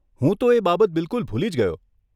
હું તો એ બાબત બિલકુલ ભૂલી જ ગયો.